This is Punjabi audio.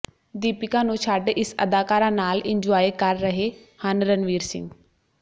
ਦੀਪਿਕਾ ਨੂੰ ਛੱਡ ਇਸ ਅਦਾਕਾਰਾ ਨਾਲ ਇੰਨਜੁਆਏ ਕਰ ਰਹੇ ਹਨ ਰਣਵੀਰ ਸਿੰਘ